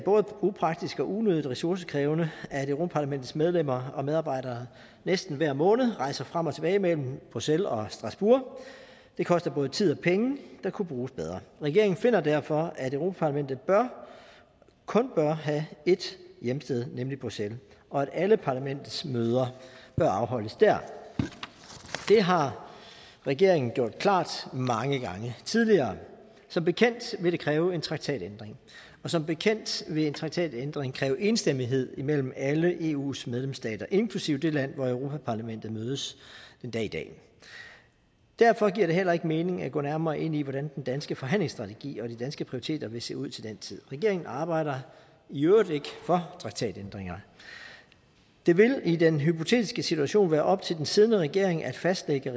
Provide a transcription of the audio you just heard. upraktisk og unødigt ressourcekrævende at europa parlamentets medlemmer og medarbejdere næsten hver måned rejser frem og tilbage mellem bruxelles og strasbourg det koster både tid og penge der kunne bruges bedre regeringen finder derfor at europa parlamentet kun bør have ét hjemsted nemlig bruxelles og at alle parlamentets møder bør afholdes der det har regeringen gjort klart mange gange tidligere som bekendt vil det kræve en traktatændring og som bekendt vil en traktatændring kræve enstemmighed mellem alle eus medlemsstater inklusive det land hvor europa parlamentet mødes den dag i dag derfor giver det heller ikke mening at gå nærmere ind i hvordan den danske forhandlingsstrategi og de danske prioriteter vil se ud til den tid regeringen arbejder i øvrigt ikke for traktatændringer det vil i den hypotetiske situation være op til den siddende regering at fastlægge